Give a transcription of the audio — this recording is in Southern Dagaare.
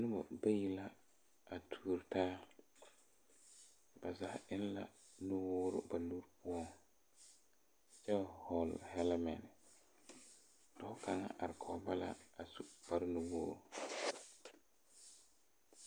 Nobɔ bayi la a tuuro taa ba zaa eŋ la nuwoore ba nuure poɔŋ kyɛ hɔɔle hɛlɛmɛn dɔɔ kaŋa are kɔge ba a su kparenuwogre.